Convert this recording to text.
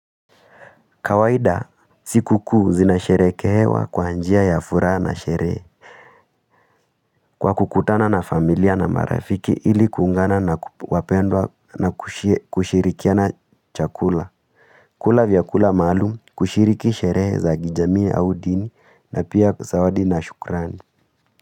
Kawaida, siku kuu zinasherehekewa kwa njia ya furaha na sherehe. Kwa kukutana na familia na marafiki ili kuungana na wapendwa na kushirikiana chakula. Kula vyakula maalumu kushiriki sherehe za kijamii au dini na pia zawadi na shukrani.